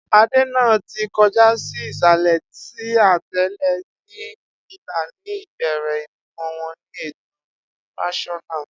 Ade naa ti kọja si isalẹ si atẹle ni ila, ni ibere ibimọ wọn ni eto rotaional